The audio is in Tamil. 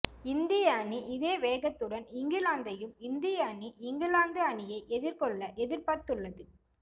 இந்திய அணி இதே வேகத்துடன் இங்கிலாந்தையும் இந்திய அணி இங்கிலாந்து அணியை எதிர்கொள்ள எதிர்பார்த்துள்ளது